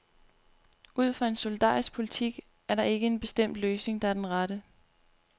Ud fra en solidarisk politik er der ikke en bestemt løsning, der er den rette.